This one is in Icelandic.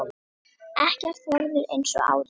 Ekkert verður eins og áður.